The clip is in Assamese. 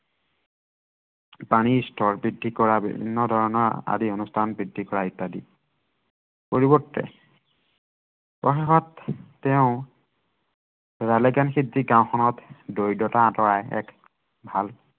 পানীৰ স্তৰ বৃদ্ধি কৰা বিভিন্ন ধৰনৰ আদি অনুষ্ঠান বৃদ্ধি কৰা ইত্য়াদি। পৰিৱৰ্তে প্ৰৱাসত তেওঁ ৰালেগান সিদ্ধি গাওঁখনত দৰিদ্ৰতা আঁতৰাই এক